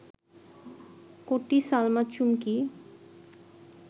কটি সলমা চুমকি